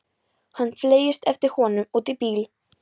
Hann fleygist eftir honum út í bíl.